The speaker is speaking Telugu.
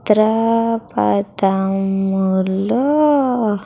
చిత్ర పటం లో.